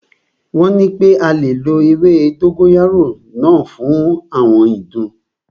Wọ́n nipé a lè lo ewé dógóyárò náà fún àwọn ìdun.